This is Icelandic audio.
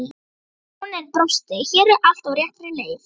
Baróninn brosti:- Hér er allt á réttri leið.